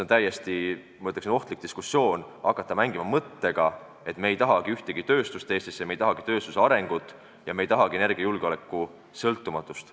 On täiesti, ma ütleksin, ohtlik hakata mängima mõttega, et me ei tahagi Eestisse tööstust, me ei tahagi tööstuse arengut ja me ei tahagi energiasõltumatust.